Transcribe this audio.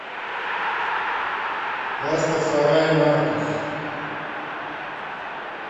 растафарай маркус